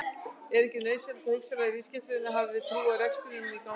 Er ekki nauðsynlegt að hugsanlegir viðskiptavinir hafi trú á að reksturinn gangi?